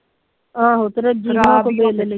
ਆਹੋ